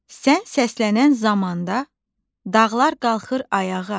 Sən səslənən zamanda dağlar qalxır ayağa.